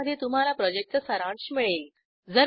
ज्यामध्ये तुम्हाला प्रॉजेक्टचा सारांश मिळेल